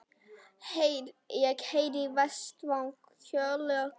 Ég heyri Véstein kjökra.